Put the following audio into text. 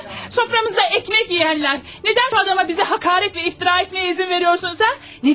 Süfrəmizdə çörək yeyənlər, nədən bu adama bizə həqarət və iftira etməyə icazə verirsiniz, hə?